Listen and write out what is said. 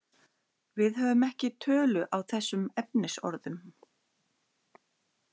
Við höfum ekki tölu á þessum efnisorðum.